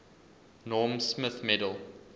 norm smith medal